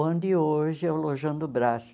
Onde hoje é o Lojão do Brás.